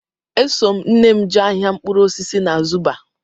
Eso m nne m jee ahịa mkpụrụ osisi na Zuba